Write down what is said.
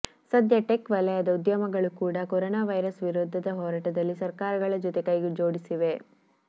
ಸದ್ಯ ಟೆಕ್ ವಲಯದ ಉದ್ಯಮಗಳು ಕೂಡ ಕೊರೊನಾ ವೈರಸ್ ವಿರುದ್ದದ ಹೋರಾಟದಲ್ಲಿ ಸರ್ಕಾರಗಳ ಜೊತೆ ಕೈ ಜೋಡಿಸಿವೆ